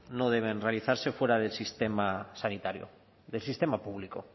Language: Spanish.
no deben realizarse fuera del sistema sanitario del sistema público